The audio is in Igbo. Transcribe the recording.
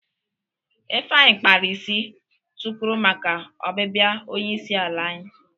Ifeanyi kpara isi tukwuru maka obibia onye isi ala anyi.